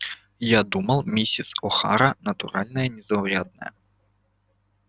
я подумал мисс охара натура незаурядная